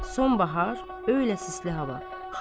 Son bahar, öğlə sisli hava.